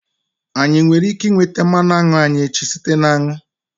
Anyị nwere ike nweta mmanụ aṅụ anyị echi site na aṅụ?